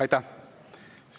Aitäh!